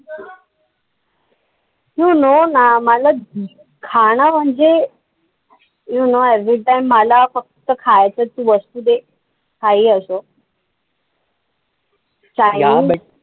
You know ना? मला खाणं म्हणजे you know everytime, मला फक्त खायचं तू वस्तु दे काही असो. chinese